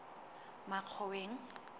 makgoweng